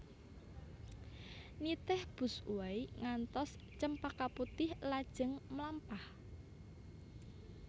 Nitih busway ngantos Cempaka Putih lajeng mlampah